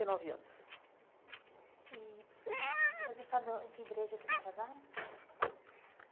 E nove anos e e você sabe on em que igreja que eles casaram?